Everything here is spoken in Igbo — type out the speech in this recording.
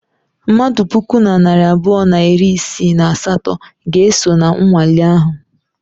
Mmadụ puku na narị abụọ na iri isii na asatọ ga-eso na nwale ahụ.